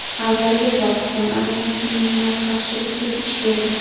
Avvaliga Pokiston armiyasi minimal qarshilikka duch keldi.